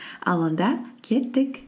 ал онда кеттік